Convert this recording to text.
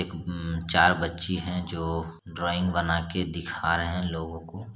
एक हूं चार बच्ची है जो ड्रॉइंग बना के दिखा रहे है लोगों को ---